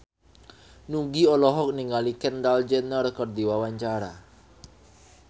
Nugie olohok ningali Kendall Jenner keur diwawancara